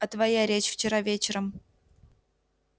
а твоя речь вчера вечером